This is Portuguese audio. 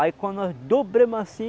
Aí quando nós dobramos assim,